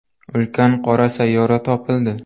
Ulkan qora sayyora topildi.